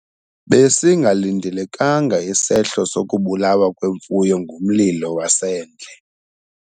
Besingalindelekanga isehlo sokubulawa kwemfuyo ngumlilo wasendle.